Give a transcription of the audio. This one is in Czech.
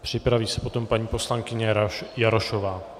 Připraví se potom paní poslankyně Jarošová.